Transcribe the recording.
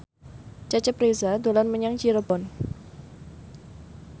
Cecep Reza dolan menyang Cirebon